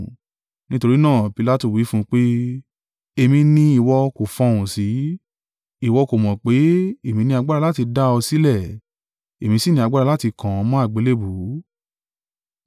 Nítorí náà, Pilatu wí fún un pé, “Èmi ni ìwọ kò fọhùn sí? Ìwọ kò mọ̀ pé, èmi ní agbára láti dá ọ sílẹ̀, èmi sì ní agbára láti kàn ọ́ mọ́ àgbélébùú?”